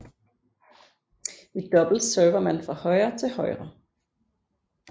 I double server man fra højre til højre